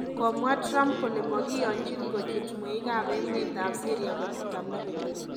Komwa Trump kole makiyonjin kochut mweik ab emet ab Syria kochut America